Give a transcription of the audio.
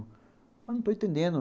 Não estou entendendo.